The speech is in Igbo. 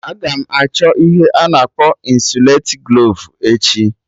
Aga m achọ ihe a na akpọ ịnsụlatiglovu echi